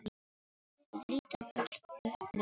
Við lítum öll upp nema pabbi.